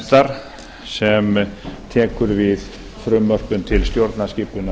nefndar sem tekur við frumvörpum til stjórnarskipunarlaga